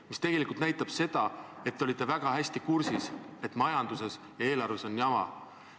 See tegelikult näitab, et te olite väga hästi kursis, et majanduses ja eelarvega on jama.